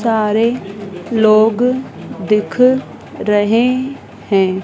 सारे लोग दिख रहे हैं।